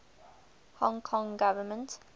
hong kong government